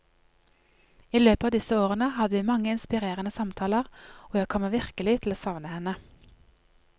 I løpet av disse årene hadde vi mange inspirerende samtaler, og jeg kommer virkelig til å savne henne.